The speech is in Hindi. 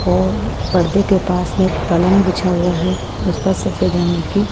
और पर्दे के पास में एक पलंग बिछा हुआ है उस पर सफेद रंग की--